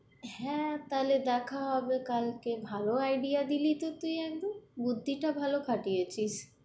হ্যাঁ, তাহলে দেখা হবে কালকে, ভালো আইডিয়া দিলি তো তুই একদম, বুদ্ধিটা ভালো খাটিয়েছিস।